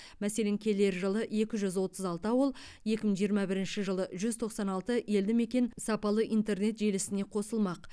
мәселен келер жылы екі жүз отыз алты ауыл екі мың жиырма бірінші жылы жүз тоқсан алты елді мекен сапалы интернет желісіне қосылмақ